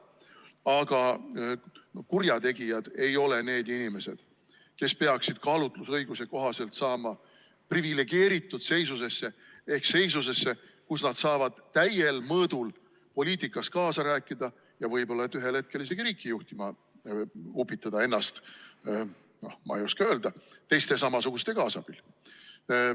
Aga kurjategijad ei ole need inimesed, kes peaksid kaalutlusõiguse kohaselt saama privilegeeritud seisuse, nii et nad saavad täiel mõõdul poliitikas kaasa rääkida ja võib-olla ühel hetkel ennast isegi riiki juhtima upitada teiste samasuguste kaasabil.